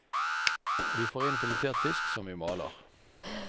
Vi får inn filetert fisk som vi maler.